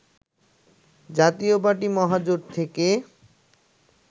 জাতীয় পার্টি মহাজোট থেকে